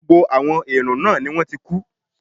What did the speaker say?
Gbogbo àwọn èèrùn náà ni wọ́n ti kú